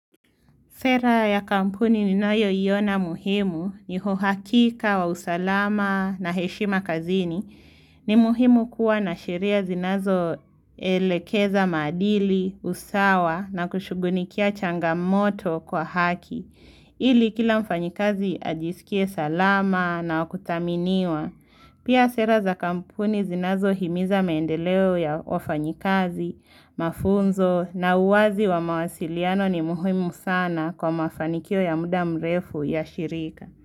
Sera ya kampuni ninayoiona muhimu ni uhakika wa usalama na heshima kazini. Ni muhimu kuwa na sheria zinazoelekeza maadili, usawa na kushughulikia changamoto kwa haki. Ili kila mfanyikazi ajisikie salama na wakuthaminiwa. Pia sera za kampuni zinazo himiza maendeleo ya wafanyikazi, mafunzo na uwazi wa mawasiliano ni muhimu sana. Kwa mafanikio ya mda mrefu yashirika.